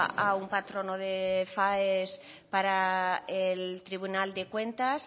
a un patrono de faes para el tribunal de cuentas